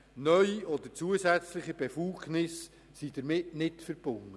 Neue oder zusätzliche Befugnisse sind damit nicht verbunden.